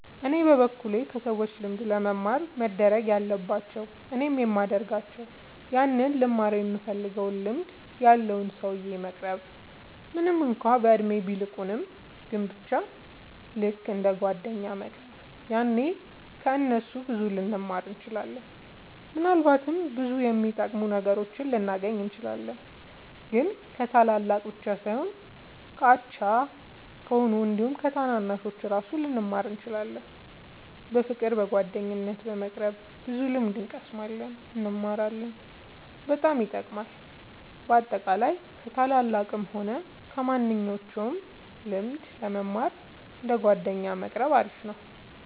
እኔ በበኩሌ ከሰዎች ልምድ ለመማር መደረግ ያለባቸው እኔም የሚደርጋቸው ያንን ልንማረው ይምንፈልገውን ልምድ ያለውን ሰውዬ መቅረብ ምንም እንኳን በእድሜ ቢልቁንም ግን በቻ ልክ እንደ ጓደኛ መቅረብ ያኔ ከ እነሱ ብዙ ልንማር እንችላለን። ምናልባትም ብዙ የሚጠቅሙ ነገሮችን ልናገኝ እንችላለን። ግን ከታላላቅ ብቻ ሳይሆን ከኛ አቻ ከሆኑት አንዲሁም ከታናናሾቹ እራሱ ብዙ ልንማር እንችላለን። በፍቅር በጓደኝነት በመቅረብ ብዙ ልምድ እንቀስማለን እንማራለን በጣም ይጠቅማል። በአጠቃላይ ከ ታላላቅም ሆነ ከማንኞቹም ልምድ ለመማር እንደ ጓደኛ መቆረብ አሪፍ ነው